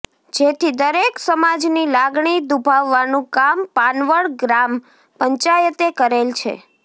જેથી દરેક સમાજની લાગણી દુભાવવાનું કામ પાનવડ ગ્રામ પંચાયતે કરેલ છે